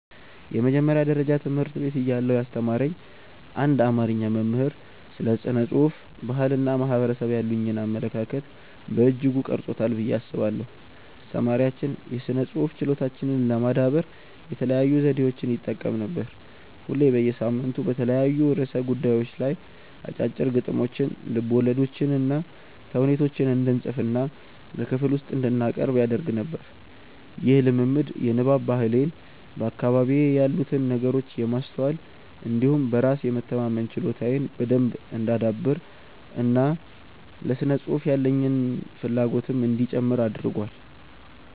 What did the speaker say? የመጀመሪያ ደረጃ ትምህርት ቤት እያለሁ ያስተማረኝ አንድ አማርኛ መምህር ስለ ስነ ጽሁፍ፣ ባህል እና ማህበረሰብ ያሉኝን አመለካከት በእጅጉ ቀርጾታል ብዬ አስባለሁ። አስተማሪያችን የስነ ጽሁፍ ችሎታችንን ለማዳበር የተለያዩ ዘዴዎችን ይጠቀም ነበር። ሁሌ በየሳምንቱ በተለያዩ ርዕሰ ጉዳዮች ላይ አጫጭር ግጥሞችን፣ ልቦለዶችንና ተውኔት እንድንፅፍና በክፍል ውስጥ እንድናቀርብ ያደርግ ነበር። ይህ ልምምድ የንባብ ባህሌን፣ በአካባቢዬ ያሉትን ነገሮች የማስተዋል እንዲሁም በራስ የመተማመን ችሎታዬን በደንብ እንዳዳብር እና ለስነ ጽሁፍ ያለኝን ፍላጎትም እንዲጨምር አድርጓል።